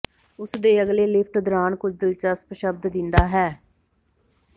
ਉਸ ਦੇ ਅਗਲੇ ਲਿਫਟ ਦੌਰਾਨ ਕੁਝ ਦਿਲਚਸਪ ਸ਼ਬਦ ਦਿੰਦਾ ਹੈ